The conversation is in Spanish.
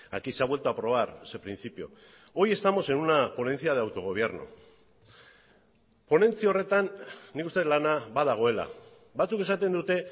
aquí se ha vuelto a aprobar ese principio hoy estamos en una ponencia de autogobierno ponentzia horretan nik uste dut lana badagoela batzuk esaten dute